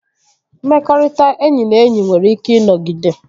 Mmekọrịta enyi na enyi nwere ike ịnọgide